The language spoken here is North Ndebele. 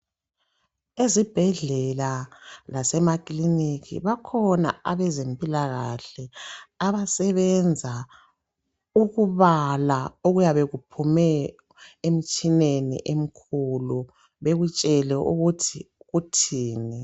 Ezibhedlela lasemakiliniki, bakhona abezempilakahle abasebenza ukubala okuyabe kuphume emtshineni emkhulu, bekutshele ukuthi kuthini.